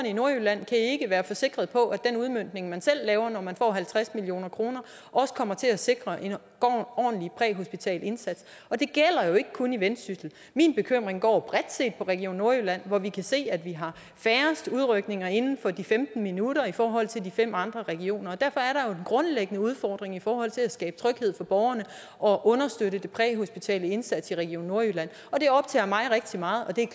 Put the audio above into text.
i nordjylland kan ikke være sikre på at den udmøntning man selv laver når man får halvtreds million kr også kommer til at sikre en ordentlig præhospital indsats og det gælder jo ikke kun i vendsyssel min bekymring går bredt set på region nordjylland hvor vi kan se at vi har færrest udrykninger inden for de femten minutter i forhold til de fem andre regioner derfor er der jo en grundlæggende udfordring i forhold til at skabe tryghed for borgerne og understøtte den præhospitale indsats i region nordjylland det optager mig rigtig meget og det er